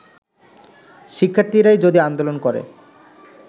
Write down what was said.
শিক্ষার্থীরাই যদি আন্দোলন করে